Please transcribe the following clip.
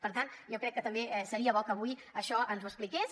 per tant jo crec que també seria bo que avui això ens ho expliqués